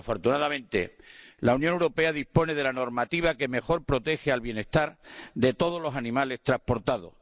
Afortunadamente, la Unión Europea dispone de la normativa que mejor protege el bienestar de todos los animales transportados.